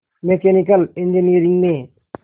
mechanical engineering में